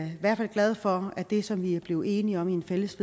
i hvert fald glade for det som vi er blevet enige om i et fælles